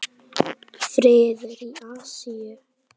Friður í Asíu.